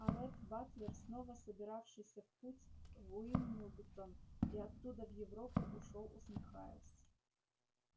а ретт батлер снова собиравшийся в путь в уилмингтон и оттуда в европу ушёл усмехаясь